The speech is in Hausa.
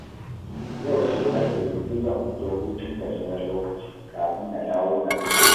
Yau sai ƙarfe biyu zan fito hutun gajeren lokaci, kafin na dawo na ɗora